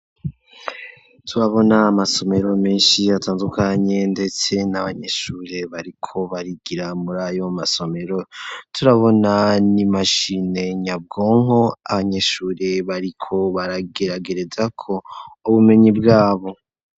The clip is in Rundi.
Turabona amasomero meshi atandukanye ndetse n'abanyeshure bariko barigira muri ayo masomero turabona n'imashine nyabwonko abanyeshure bariko barageragereza ko ubumenyi bwabo.